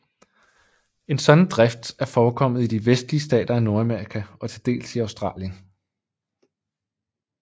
En sådan drift er forekommet i de vestlige stater af Nordamerika og til dels i Australien